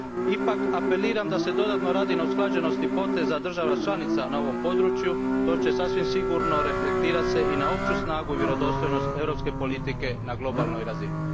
Ipak apeliram da se dodatno radi na usklađenosti poteza država članica na ovom području, što će se sasvim sigurno reflektirati i na opću snagu i vjerodostojnost europske politike na globalnoj razini.